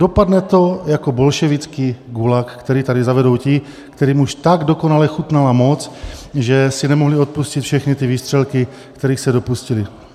Dopadne to jako bolševický gulag, který tady zavedou ti, kterým už tak dokonale chutnala moc, že si nemohli odpustit všechny ty výstřelky, kterých se dopustili.